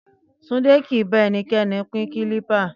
Túndé kì í bá ẹnikẹ́ni pín kílípà